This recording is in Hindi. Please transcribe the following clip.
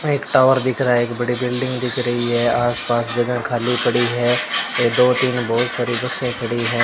एक टॉवर दिख रहा है एक बड़ी बिल्डिंग दिख रही है आस पास जगह खाली पड़ी है ये दो तीन बहुत सारी बसें खड़ी हैं।